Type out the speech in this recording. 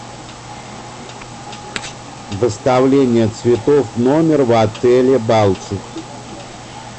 доставление цветов в номер в отеле балтики